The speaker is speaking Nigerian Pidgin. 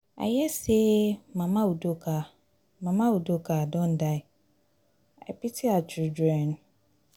i hear say mama udoka mama udoka don die i pity her children